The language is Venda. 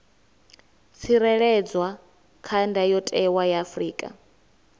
tsireledzwa kha ndayotewa ya afrika